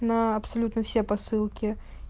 на абсолютно все посылки